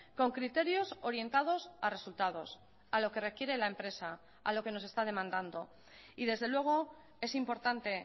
con criterios orientados a resultados a lo que requiere la empresa a lo que nos está demandando y desde luego es importante